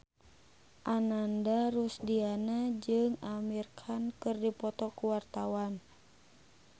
Ananda Rusdiana jeung Amir Khan keur dipoto ku wartawan